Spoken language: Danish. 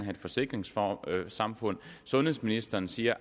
et forsikringssamfund sundhedsministeren siger